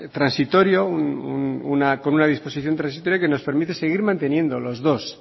transitorio con una disposición transitoria que nos permite seguir manteniendo las dos